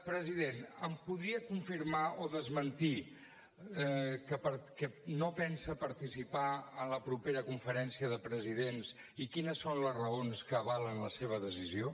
president em podria confirmar o desmentir que no pensa participar a la propera conferència de presidents i quines són les raons que avalen la seva decisió